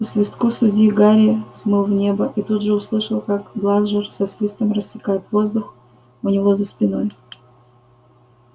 по свистку судьи гарри взмыл в небо и тут же услышал как бладжер со свистом рассекает воздух у него за спиной